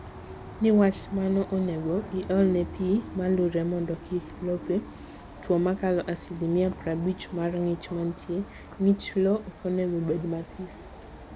Niwach mano, onego iolne pii malure mondo kik lope two makalo asilimia prabich mar ngich mantie(ngich lowo okonego bed mathis)